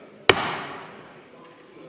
Seda soovi ei ole.